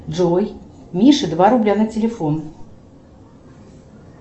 джой мише два рубля на телефон